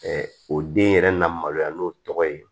o den yɛrɛ na maloya n'o tɔgɔ ye